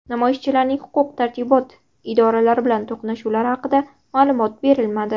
Namoyishchilarning huquq-tartibot idoralari bilan to‘qnashuvlari haqida ma’lumot berilmadi.